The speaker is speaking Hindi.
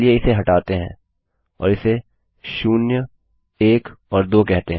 चलिए इसे हटाते हैं और इसे शून्यएक और दो कहते हैं